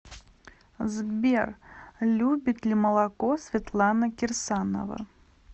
сбер любит ли молоко светлана кирсанова